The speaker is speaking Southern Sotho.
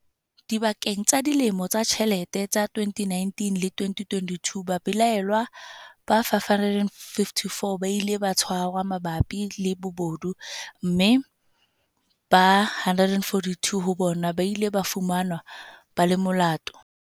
Dipakeng tsa dilemo tsa ditjhelete tsa 2019 le 2022, babelaellwa ba 554 ba ile ba tshwarwa mabapi le bobodu, mme ba 142 ho bona ba ile ba fumanwa ba le molato.